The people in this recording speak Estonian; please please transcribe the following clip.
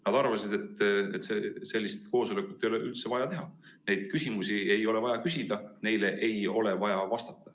Nad arvasid, et sellist koosolekut ei ole üldse vaja teha, neid küsimusi ei ole vaja küsida ja neile ei ole vaja vastata.